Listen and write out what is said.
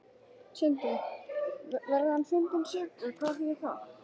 Sindri: Verði hann fundinn sekur, hvað þýðir það?